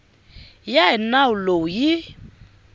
ya hi nawu lowu yi